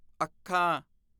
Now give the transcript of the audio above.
ਅੱਖਾਂ